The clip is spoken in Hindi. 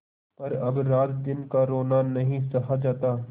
पर अब रातदिन का रोना नहीं सहा जाता